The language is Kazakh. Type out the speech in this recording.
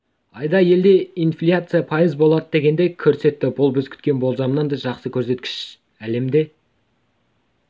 айда елде инфляция пайыз болады дегенді көрсетті бұл біз күткен болжамнан да жақсы көрсеткіш әлемде